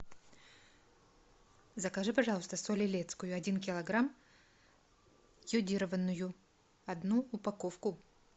закажи пожалуйста соль илецкую один килограмм йодированную одну упаковку